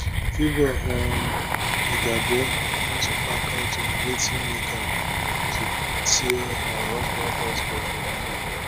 favour um igiebor don speak out on wetin make am to tear her husband passport for video